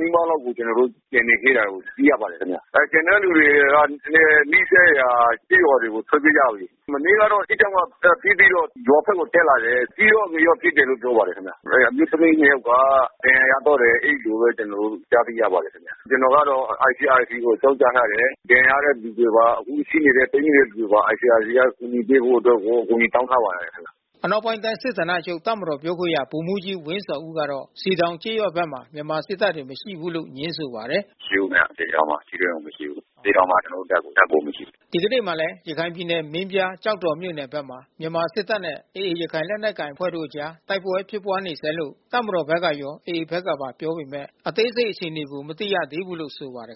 နီးပါးလောက်ကို ကျွန်တော်တို့ကျန်နေသေး တာကိုသိရပါတယ်ခင်ဗျ။ ကျန်တဲ့လူတွေကလဲနီးစပ်ရာကျေးရွာတွေကိုထွက်ပြေးကြပြီးလေ။ မနေ့ကတော့စစ်ကြောင်း ကပစ်ပြီးတော့ရွာဖက်ကိုတက်လာတယ်။ အကြီးရော အငယ်ရော ပစ်တယ်လို့ပြောပါတယ်ခင်ဗျ။ အမျိုးသမီးနှစ် ယောက်က ဒဏ်ရာရသွားတယ် အဲဒီလိုဘဲကျွန်တော်တို့ကြားသိရပါတယ်။ ကျွန်တော်ကတော့ICRCကို အကြောင်း ကြားထားတယ်။ ဒဏ်ရာရတဲ့သူတွေပါ အခုရှိနေတဲ့ ပိတ်မိနေတဲ့သူတွေပါ ICRCကအကူညီပေးဖို့အတွက် ကိုအကူ ညီတောင်းထားပါတယ်။” အနောက်ပိုင်းတိုင်း စစ်ဌာနချုပ်တပ်မတော်ပြောခွင့်ရဗိုလ်မှူးကြီးဝင်းဇော်ဦးကတော့ စည်တောင်ကျေးရွာ ဘက်မှာ မြန်မာစစ်တပ်တွေမရှိဘူးလို့ငြင်းဆိုပါတယ်။ “မရှိဘူးခင်ဗျ။ စည်တောင်မှာထိတွေ့မှုမရှိဘူး။ စည်တောင်မှာကျွန်တော်တို့တပ်ကိုမရှိဘူး။” ဒီကနေ့မှာလဲရခိုင်ပြည်နယ် မင်းပြား ကျောက်တော်မြို့နယ်ဖက်မှာ မြန်မာစစ်တပ်နဲ့ AA ရခိုင်လက်နက်ကိုင် အဖွဲ့တို့ အကြားတိုက်ပွဲဖြစ်ပွါးနေဆဲလို့ တပ်မတော်ဖက်ကရော AAဖက်ကပါ ပြောပေမဲ့ အသေးစိတ်အခြေအနေကို မသိရ သေးဘူးလို့ဆိုပါတယ်